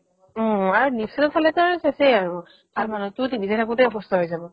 অ, আৰু ফালেতো আৰু চেচ্ই আৰু তাৰ মানুহ্টোৰ TV চাই থাকোতে অসুস্থ হৈ যাব